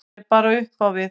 Hann er bara upp á við.